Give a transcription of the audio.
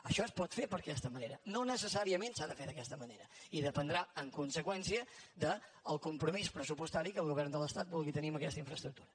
això es pot fer d’aquesta manera no necessàriament s’ha de fer d’aquesta manera i dependrà en conseqüència del compromís pressupostari que el govern de l’estat vul·gui tenir amb aquesta infraestructura